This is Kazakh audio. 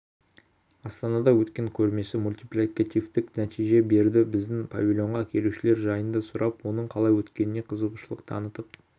астанада өткен көрмесі мультипликативтік нәтиже берді біздің павильонға келушілер жайында сұрап оның қалай өткеніе қызығушылық танытып